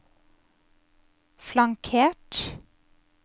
flankert